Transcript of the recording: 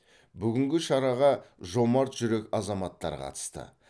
бүгінгі шараға жомарт жүрек азаматтар қатысты